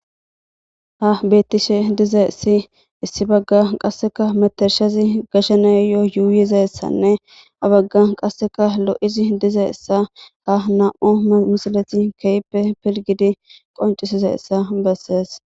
ha bettishe diza issi issi bagga qasseka metershazi gashaneyoo yuuyiza essanne abagga qasseka lo7izi diza issa ka nam7u misileti keyppe pilgidi qoncisiza issa bessees